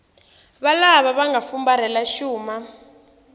valava va nga fumbarhela xuma